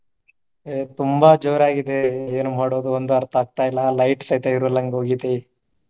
ಆಹ್ ತುಂಬಾ ಜೋರಾಗಿದೆ ಏನ ಮಾಡೋದು ಒಂದು ಅರ್ಥ ಆಗ್ತಿಲ್ಲಾ light ಸತೆ .